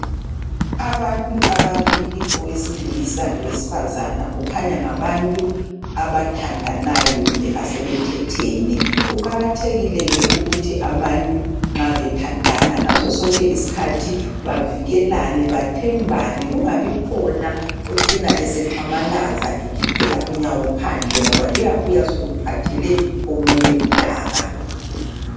Abantu ababili owesilisa lowesifazana kukhanya ngabantu abathandanayo kumbe asebethethene. Kuqakathekile ke ukuthi abantu nxa bethandana ngaso sonke isikhathi bavikelane, bathembane kungabi khona ocina esexamalaza ekhiphela unyawo phandle ngoba luyabuya soluphathele omunye udaka.